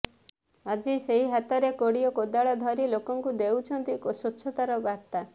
ଆଜି ସେହି ହାତରେ କୋଡି ଓ କୋଦାଳ ଧରି ଲୋକଙ୍କୁ ଦେଉଛନ୍ତି ସ୍ବଚ୍ଛତାର ବାର୍ତ୍ତା